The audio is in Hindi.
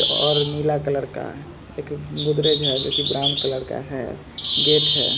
और नीला कलर का है एक गोदरेज है जो की ब्राउन कलर का हैं गेट हैं।